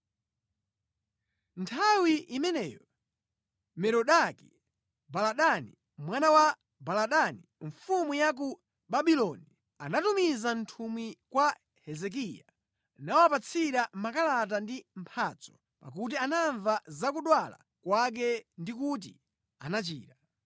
Nthawi imeneyo Merodaki-Baladani, mwana wa Baladani mfumu ya ku Babuloni anatumiza nthumwi kwa Hezekiya nawapatsira makalata ndi mphatso, pakuti anamva za kudwala kwake ndi kuti anachira.